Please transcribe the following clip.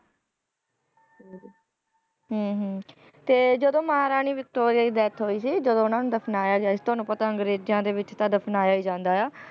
ਹਮ ਹਮ ਤੇ ਜਦੋਂ ਮਹਾਰਾਣੀ ਵਿਕਟੋਰੀਆ ਦੀ death ਹੋਈ ਸੀ ਜਦੋਂ ਉਹਨਾਂ ਨੂੰ ਦਫ਼ਨਾਇਆ ਗਿਆ ਸੀ ਤੁਹਾਨੂੰ ਪਤਾ ਅੰਗਰੇਜ਼ਾਂ ਦੇ ਵਿੱਚ ਤਾਂ ਦਫ਼ਨਾਇਆ ਹੀ ਜਾਂਦਾ ਹੈ,